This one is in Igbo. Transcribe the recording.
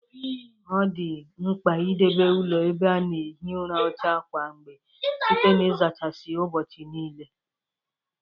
O dị nkpa idebe ụlọ ebe a na-ehi ụra ọcha kwa mgbe site na izachasị ya ụbọchị niile